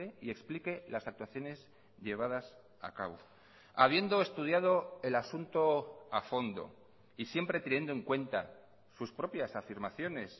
y explique las actuaciones llevadas a cabo habiendo estudiado el asunto a fondo y siempre teniendo en cuenta sus propias afirmaciones